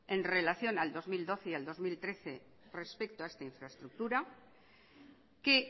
en relación al dos mil doce y al dos mil trece respecto a esta infraestructura que